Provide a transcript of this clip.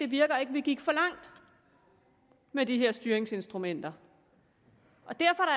virker vi gik for langt med de her styringsinstrumenter og derfor